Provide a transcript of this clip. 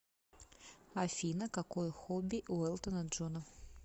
афина какое хобби у элтона джона